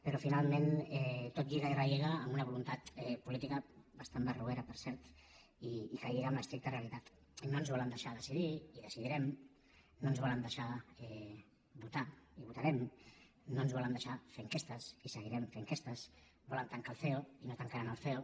però finalment tot lliga i relliga amb una voluntat política bastant barroera per cert i que lliga amb l’estricta realitat no ens volen deixar decidir i decidirem no ens volen deixar votar i votarem no ens volen deixar fer enquestes i seguirem fent enquestes volen tancar el ceo i no tancaran el ceo